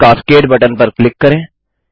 fish cascade button पर click करें